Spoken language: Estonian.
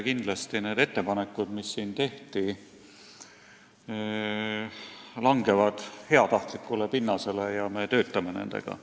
Kindlasti need ettepanekud, mis siin tehti, langevad heatahtlikule pinnasele ja me töötame nendega.